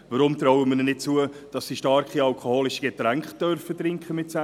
Warum trauen wir ihnen nicht zu, dass sie mit 16 starke alkoholische Getränke trinken dürfen?